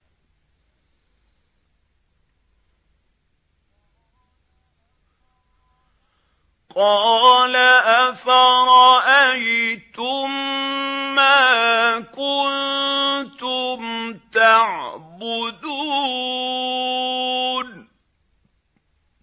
قَالَ أَفَرَأَيْتُم مَّا كُنتُمْ تَعْبُدُونَ